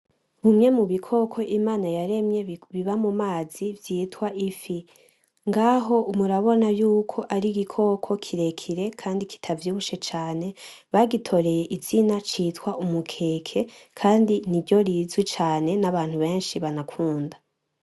Bimwe mu bikoko Imana yaremye biba mu mazi vyitwa ifi. Ngaho murabona yuko ari igikoko kirekire kandi kitavyibushe cane, bagitoreye izina citwa umukeke rizwi cane kandi niryo benshi banakunda.